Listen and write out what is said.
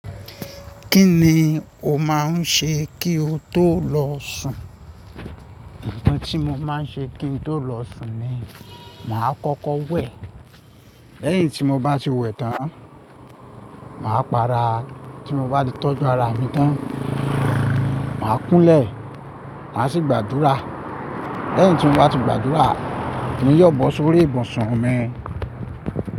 Kí ni o máa ń ṣe kí o tó lọ sùn? Òǹtì tí mo máa ń ṣe kí n tó lọ sùn ni, màá kọ́kọ́ wẹ̀. Lẹ́yìn tí mo bá ti wẹ̀ tán, màá para. Tí mo bá tọ́jú ara mi tán, màá kúnlẹ̀, màá sì gbàdúrà. Lẹ́yìn tí mo bá ti gbàdúrà ni ìyọ̀ bọ́ sórí ibùsùn mi.